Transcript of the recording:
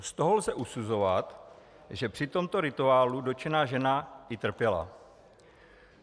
Z toho lze usuzovat, že při tomto rituálu dotčená žena i trpěla.